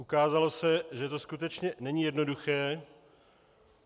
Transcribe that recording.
Ukázalo se, že to skutečně není jednoduché.